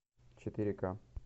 четыре ка